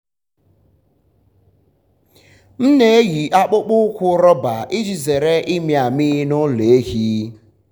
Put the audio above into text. m na-eyi akpụkpọ ụkwụ rọba iji zere ịmị amị n’ụlọ ehi.